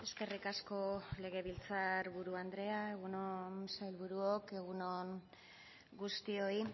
eskerrik asko legebiltzarburu andrea egun on sailburuok egun on guztioi